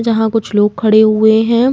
जहाँ कुछ लोग खड़े हुए हैं।